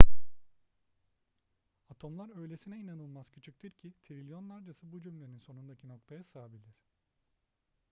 atomlar öylesine inanılmaz küçüktür ki trilyonlarcası bu cümlenin sonundaki noktaya sığabilir